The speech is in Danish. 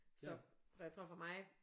Så så jeg tror for mig